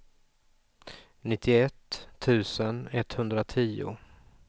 nittioett tusen etthundratio